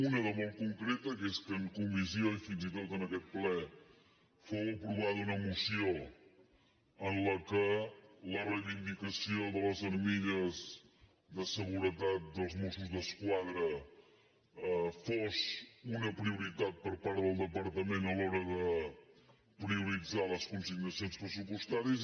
una de molt concreta que és que en comissió i fins i tot en aquest ple fou aprovada una moció en la qual la reivindicació de les armilles de seguretat dels mossos d’esquadra fos una prioritat per part del departament a l’hora de prioritzar les consignacions pressupostàries